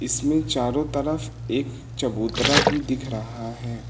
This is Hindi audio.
इसमें चारों तरफ एक चबूतरा भी दिख रहा है।